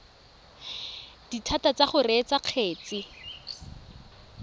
dithata tsa go reetsa kgetse